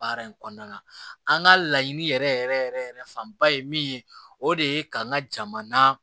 Baara in kɔnɔna na an ka laɲini yɛrɛ yɛrɛ yɛrɛ yɛrɛ fanba ye min ye o de ye ka n ka jamana